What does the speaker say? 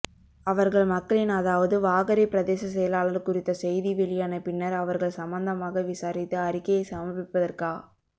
அவர்கள் மக்களின் அதாவது வாகரை பிரதேச செயளாளர் குறித்த செய்தி வெளியான பின்னர் அவர்கள் சம்மந்தமாக விசாரித்து அறிக்கை சமர்ப்பிப்பதர்க்கா